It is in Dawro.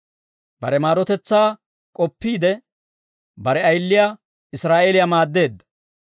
Bare maarotetsaa k'oppiide, bare ayiliyaa Israa'eeliyaa maadeedda.